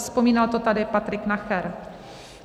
Vzpomínal to tady Patrik Nacher.